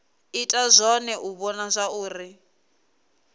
ita zwone u vhona zwauri